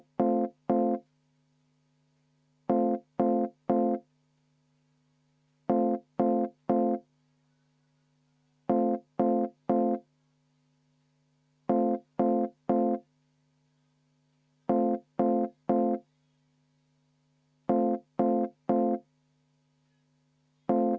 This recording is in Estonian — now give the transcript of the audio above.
Päris pingeline arutelu on olnud ja minister oli ka siin väsinud.